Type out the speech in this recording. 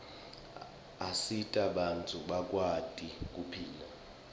asita bantfu bakwati kuphila